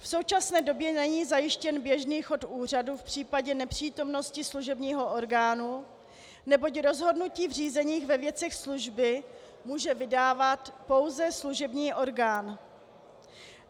V současné době není zajištěn běžný chod úřadu v případě nepřítomnosti služebního orgánu, neboť rozhodnutí v řízení ve věcech služby může vydávat pouze služební orgán.